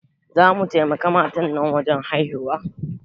Za mu taimaka ma matan nan wajen haihuwa